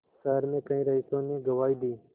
शहर में कई रईसों ने गवाही दी